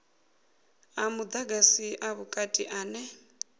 a mudagasi a vhukati ane